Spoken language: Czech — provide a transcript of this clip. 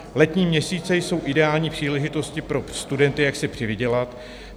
Letní měsíce jsou ideální příležitostí pro studenty, jak si přivydělat.